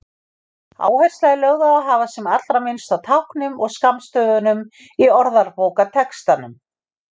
Áhersla er lögð á að hafa sem allra minnst af táknum og skammstöfunum í orðabókartextanum.